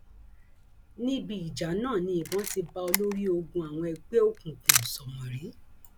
níbi ìjà náà ni ìbọn ti bá olórí ogun àwọn ẹgbẹ òkùnkùn sómórì